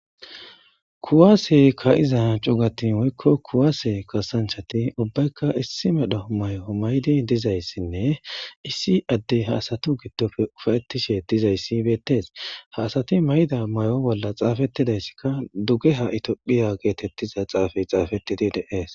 kuwaase ka'iza cugatin woykko kuwaase kasanchati ubbaykka issi medho mayo maydi dizayssinne issi addey ha asatu giddofe ufayettishe dizayssi beettees ha asati mayda mayo bolla xaafettidayssikka dugeha itiophiya geetettiza xaafey xaafettidi de'ees